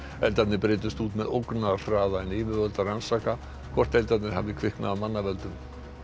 eldarnir breiddust út með ógnarhraða en yfirvöld rannsaka hvort eldarnir hafi kviknað af manna völdum